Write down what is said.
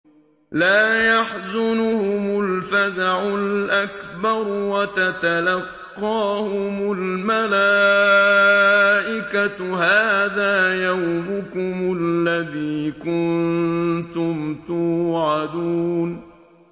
لَا يَحْزُنُهُمُ الْفَزَعُ الْأَكْبَرُ وَتَتَلَقَّاهُمُ الْمَلَائِكَةُ هَٰذَا يَوْمُكُمُ الَّذِي كُنتُمْ تُوعَدُونَ